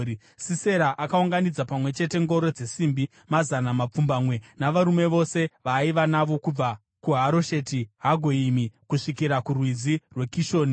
Sisera akaunganidza pamwe chete ngoro dzesimbi mazana mapfumbamwe navarume vose vaaiva navo, kubva kuHarosheti Hagoyimi kusvikira kuRwizi rweKishoni.